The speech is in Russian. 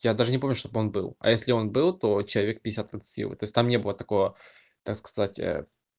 я даже не помню чтобы он был а если он был то человек пятьдесят от силы то есть там не было такого так сказать